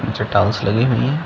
निचे टाइल्स लगी हुई है।